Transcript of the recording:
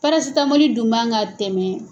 Parasitamɔli dun man ka tɛmɛ